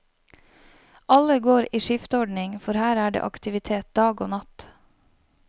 Alle går i skiftordning, for her er det aktivitet dag og natt.